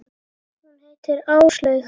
Hún heitir Áslaug.